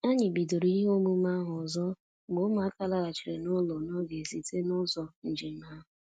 Anyị bidoro ihe omume ahụ ọzọ mgbe ụmụaka laghachiri n'ụlọ n'oge site n'ụzọ njem ha